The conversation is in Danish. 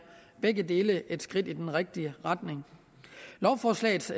et skridt i den rigtige retning lovforslagets